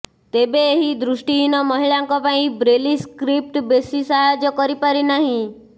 ତେବେ ଏହି ଦୃଷ୍ଟିହୀନ ମହିଳାଙ୍କ ପାଇଁ ବ୍ରେଲି ସ୍କ୍ରିପ୍ଟ ବେଶୀ ସାହାଯ୍ୟ କରିପାରିନାହିଁ